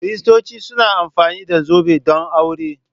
Kiristoci suna amfani da zobe don aure.